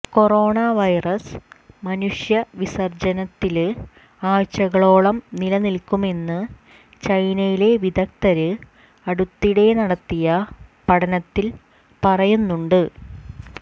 corona virus മനുഷ്യ വിസര്ജ്ജനത്തില് ആഴ്ചകളോളം നിലനില്ക്കുമെന്ന് ചൈനയിലെ വിദഗ്ധര് അടുത്തിടെ നടത്തിയ പഠനത്തിൽ പറയുന്നുണ്ട്